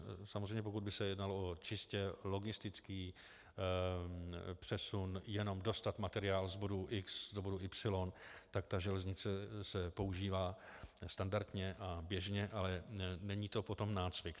Samozřejmě, pokud by se jednalo o čistě logistický přesun, jenom dostat materiál z bodu X do bodu Y, tak ta železnice se používá standardně a běžně, ale není to potom nácvik.